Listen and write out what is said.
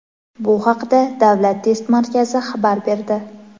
Bu haqda Davlat test markazi xabar berdi.